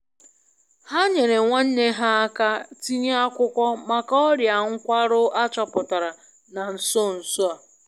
Ha nyere nwanne ha aka tinye akwụkwọ maka ọria nkwarụ achoputara na nso nso a.